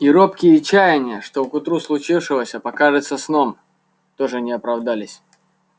и робкие чаяния что к утру случившегося покажется сном тоже не оправдались